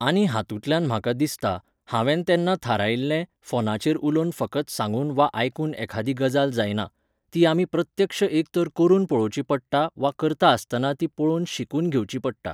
आनी हातूंतल्यान म्हाका दिसता, हांवेन तेन्ना थारायिल्लें, फोनाचेर उलोवन फकत सांगून वा आयकून एखादी गजाल जायना. ती आमी प्रत्यक्ष एक तर करून पळोवची पडटा वा करता आसतना ती पळोवन शिकून घेवची पडटा.